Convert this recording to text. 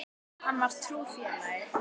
Hann var trúr félagi.